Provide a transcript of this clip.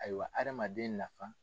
Ayiwa hadamaden nafa.